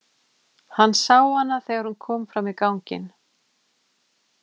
Hann sá hana þegar hún kom fram í ganginn.